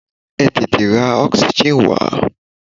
Ẹ tètè ra oxygen wá!